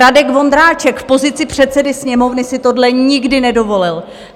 Radek Vondráček v pozici předsedy Sněmovny si tohle nikdy nedovolil.